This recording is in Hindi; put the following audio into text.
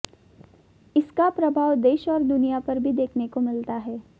इसका प्रभाव देश और दुनिया पर भी देखने को मिलता है